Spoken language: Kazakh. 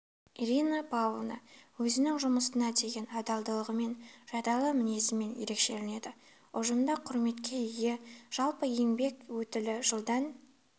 ирина павловна өзінің жұмысына деген адалдығымен жайдарлы мінезімен ерекшеленеді ұжымда құрметке ие жалпы еңбек өтілі жылдан